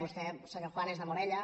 vostè senyor juan és de morella